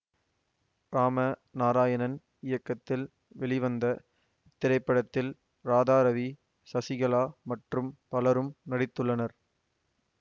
இராம நாராயணன் இயக்கத்தில் வெளிவந்த இத்திரைப்படத்தில் ராதா ரவி சசிகலா மற்றும் பலரும் நடித்துள்ளனர்